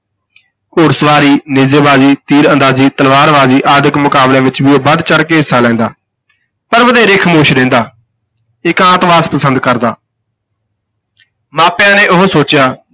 ਘੋੜ ਸਵਾਰੀ, ਨੇਜੇਬਾਜ਼ੀ, ਤੀਰ ਅੰਦਾਜ਼ੀ, ਤਲਵਾਰਬਾਜ਼ੀ ਆਦਿਕ ਮੁਕਾਬਲਿਆਂ ਵਿਚ ਵੀ ਉਹ ਵੱਧ ਚੜ੍ਹ ਕੇ ਹਿੱਸਾ ਲੈਂਦਾ ਪਰ ਵਧੇਰੇ ਖਾਮੋਸ਼ ਰਹਿੰਦਾ, ਇਕਾਂਤਵਾਸ ਪਸੰਦ ਕਰਦਾ ਮਾਪਿਆਂ ਨੇ ਉਹੋ ਸੋਚਿਆ